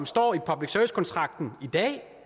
står i public service kontrakten i dag